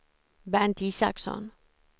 Bernt Isaksson